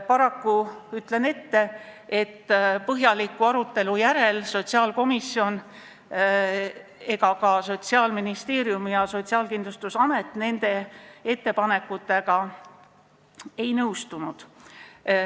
Paraku, ütlen ette, põhjaliku arutelu järel sotsiaalkomisjon ega ka Sotsiaalministeerium ja Sotsiaalkindlustusamet nende ettepanekutega ei nõustunud.